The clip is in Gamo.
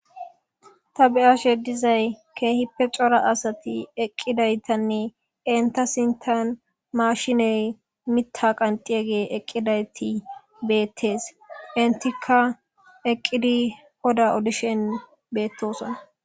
ta bi7ashe dizay keehippe cora asati eqqidaytanne enta sintan maashiney mitta qanxiyege eqqidayti beettes intikka eqqidi hoda odishen beettoson